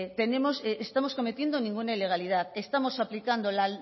estamos cometiendo ninguna ilegalidad estamos aplicando la